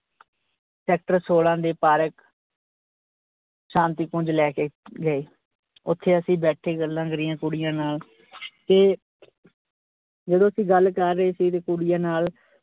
sector ਸੋਲਾ ਦੇ park ਸ਼ਾਂਤੀ ਪੁੰਜ ਲੈ ਕੇ ਗਏ। ਓਥੇ ਅਸੀਂ ਬੈਠੇ ਗੱਲਾਂ ਕਰੀਆਂ ਕੁੜੀਆਂ ਨਾਲ ਤੇ ਜਦੋਂ ਅਸੀਂ ਗੱਲ ਕਰ ਰਹੇ ਸੀ ਤੇ ਕੁੜੀਆਂ ਨਾਲ।